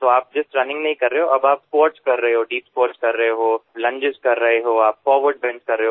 तो आप just running नहीं कर रहे हो और स्क्वाट्स कर रहे हो दीप स्क्वाट्स कर रहे हो आप लंजेस कर रहे हो आप फॉरवर्ड बेंट कर रहे हो